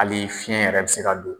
Hali fiɲɛ yɛrɛ bɛ se ka don